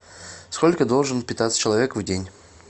сколько должен питаться человек в день